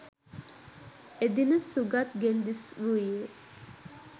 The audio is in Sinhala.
එදින සුගත් ගෙන් දිස්‌වූයේ